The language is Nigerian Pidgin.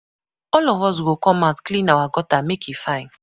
All of us go come out clean our gutter make e fine.